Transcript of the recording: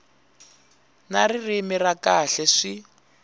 na ririmi ra kahle swi